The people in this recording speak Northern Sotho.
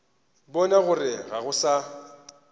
bona gore ga go na